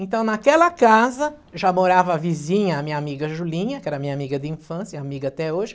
Então naquela casa já morava a vizinha, a minha amiga Julinha, que era minha amiga de infância e amiga até hoje.